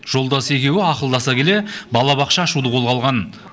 жолдасы екеуі ақылдаса келе балабақша ашуды қолға алған